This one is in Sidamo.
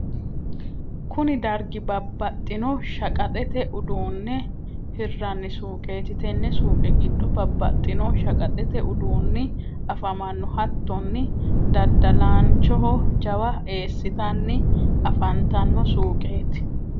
kuni dargi babbaxxino shaqaxete uduunne hirranni suuqeti. tenne suuqe giddo babbaxino shaqaxete uduunni afamanno. hattonni daddalaanchoho jawa eesitanni afantanno suuqeti.